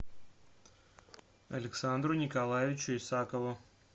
александру николаевичу исакову